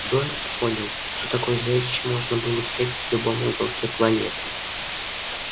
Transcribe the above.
дорник понял что такое зрелище можно встретить в любом уголке планеты